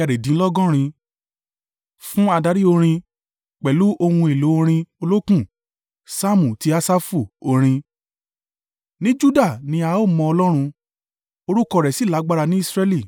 Fún adarí orin. Pẹ̀lú ohun èlò orin olókùn. Saamu ti Asafu. Orin. Ní Juda ni a mọ Ọlọ́run; orúkọ rẹ̀ sì lágbára ní Israẹli